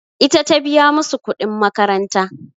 Ita ta biya musu kuɗin makaranta.